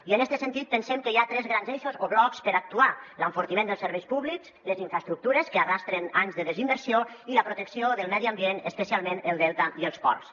i en este sentit pensem que hi ha tres grans eixos o blocs per actuar l’en·fortiment dels serveis públics les infraestructures que arrosseguen anys de desin·versió i la protecció del medi ambient especialment el delta i els ports